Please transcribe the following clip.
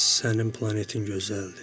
Sənin planetin gözəldir.